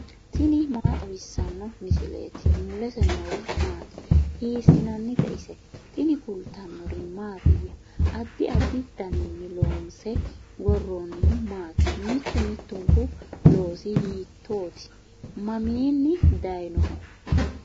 tini maa xawissanno misileeti ? mulese noori maati ? hiissinannite ise ? tini kultannori mattiya? addi addi daniinni loonsse woroonnihu maati? mittu mittunku loosi hiittoti? maminni dayiinnoho?